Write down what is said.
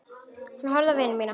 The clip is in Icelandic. Ég horfði á vini mína.